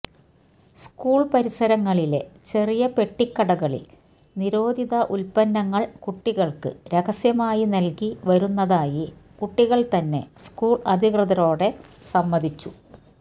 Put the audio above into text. school പരിസരങ്ങളിലെ ചെറിയ പെട്ടിക്കടകളില് നിരോധിത ഉല്പന്നങ്ങള് കുട്ടികള്ക്ക് രഹസ്യമായി നല്കി വരുന്നതായി കുട്ടികള് തന്നെ സ്കൂള് അധികൃതരോടെ സമ്മതിച്ചു